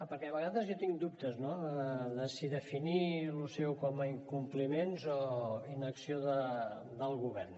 perquè a vegades jo tinc dubtes no de si definir això seu com a incompliments o inacció del govern